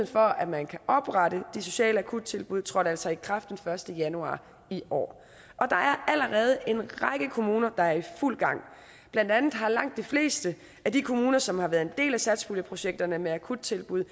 for at man kan oprette de sociale akuttilbud trådte altså i kraft den første januar i år og der er allerede en række kommuner der er i fuld gang blandt andet har langt de fleste af de kommuner som har været en del af satspuljeprojekterne med akuttilbud